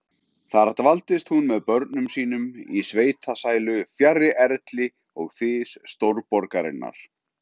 Þar dvaldist hún með börnum sínum í sveitasælu, fjarri erli og þys stórborgarinnar.